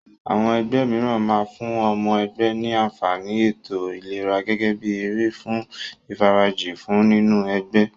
Àwọn ẹgbẹ́ mìíràn máa fún ọmọ ẹgbẹ́ ní àǹfàní ètò ìlera gẹ́gẹ́ bí èrè fún ìfarajì wọ́n nínú ẹgbẹ́.